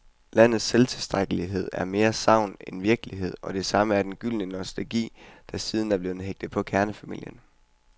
Landets selvtilstrækkelighed er mere sagn end virkelighed, og det samme er den gyldne nostalgi, der siden er blevet hægtet på kernefamilien.